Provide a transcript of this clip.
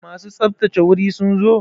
Masu tsaftsace wuri sun zo?